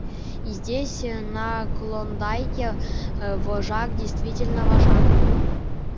и здесь на клондайке вожак действительно вожак